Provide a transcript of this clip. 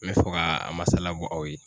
N bɛ fɛ ka a masala bɔ aw ye.